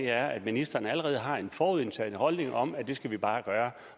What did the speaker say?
er at ministeren allerede har en forudindtaget holdning om at det skal vi bare gøre